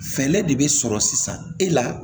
Fɛɛrɛ de bɛ sɔrɔ sisan e la